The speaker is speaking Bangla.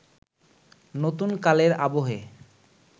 নতুন কালের আবহে